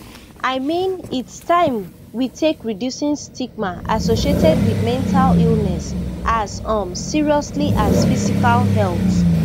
i mean its taim we take reducing stigma associated wit mental illness as um seriously as physical health